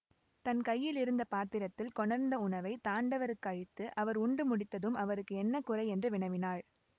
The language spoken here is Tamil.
தன் கையில் இருந்த பாத்திரத்தில் கொணர்ந்த உணவை தாண்டவருக்கு அளித்து அவர் உண்டு முடித்ததும் அவருக்கு என்ன குறை என்று வினவினாள்